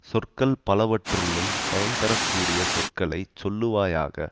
சொற்கள் பலவற்றுள்ளும் பயன்தரக்கூடிய சொற்களை சொல்லுவாயாக